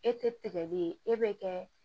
E tɛgɛ bɛ ye e bɛ kɛ